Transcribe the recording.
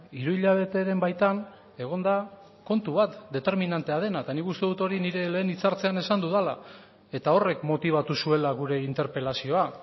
hiru hilabeteren baitan egon da kontu bat determinantea dena eta nik uste dut hori nire lehen hitzartzean esan dudala eta horrek motibatu zuela gure interpelazioa